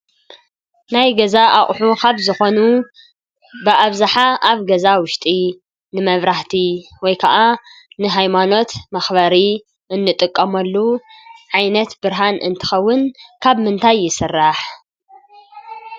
ናይ ገዛ ኣቁሑ ካብ ዝኮኑ ብኣብዝሓ ኣብ ገዛ ውሽጢ ንመብራህቲ ወይ ከዓ ንሃይማኖት መክበሪ እንጥቀመሉ ዓይነት ብርሃን እትከውን ካብ ምንታይ ይስራሕ ?